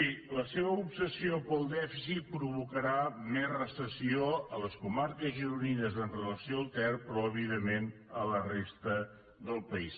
miri la seva obsessió pel dèficit provocarà més recessió a les comarques gironines amb relació al ter però evidentment a la resta del país